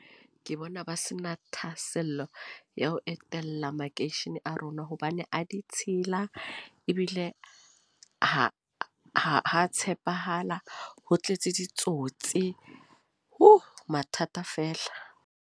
Ke bona ba se na thahasello ya ho etela makeishene a rona. Hobane a ditshila. Ebile ha, ha tshepahala. Ho tletse ditsotsi. Hu! Mathata fela.